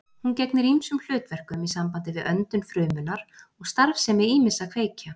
Hún gegnir ýmsum hlutverkum í sambandi við öndun frumunnar og starfsemi ýmissa kveikja.